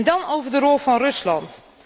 Dan over de rol van Rusland.